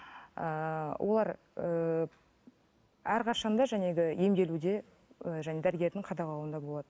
ыыы олар ыыы әрқашан да емделуде ы және дәрігердің қадағалауында болады